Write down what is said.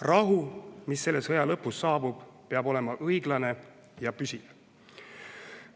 Rahu, mis selle sõja lõpus saabub, peab olema õiglane ja püsiv.